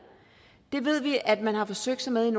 det ved vi at man har forsøgt sig med i